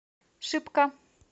шипка